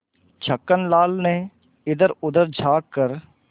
छक्कन लाल ने इधरउधर झॉँक कर